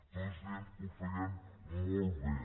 tots dient que ho feien molt bé